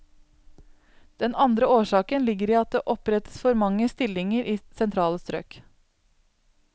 Den andre årsaken ligger i at det opprettes for mange stillinger i sentrale strøk.